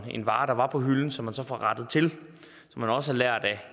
en vare der var på hylden og som man så får rettet til man har også lært af